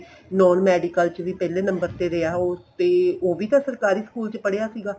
non medical ਚ ਵੀ ਪਹਿਲੇ number ਤੇ ਰਿਹਾ ਉਸ ਤੇ ਉਹ ਵੀ ਤਾਂ ਸਰਕਾਰੀ school ਚ ਪੜ੍ਹਿਆ ਸੀਗਾ